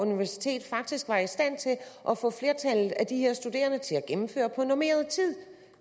universitet faktisk var i stand til at få flertallet af de her studerende til at gennemføre på normeret tid